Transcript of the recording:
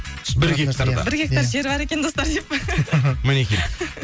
бір гектарда бір гектар жері бар екен достар деп па мінекей